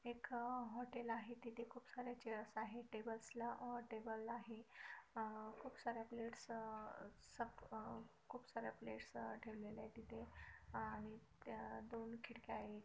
एक अह हॉटेल आहे. तिथे खूप सारे चेअरस आहेत टेबल्स ला अह टेबल आहे. खूप सार्‍या प्लेट्स अह खूप सार्‍या प्लेट्स ठेवलेल्या आहेत तिथे त्या दोन खिडक्या आहे.